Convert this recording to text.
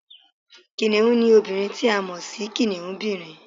Kìnìún ni obìnrin ti a mọ̀ si kìnìúnbìrin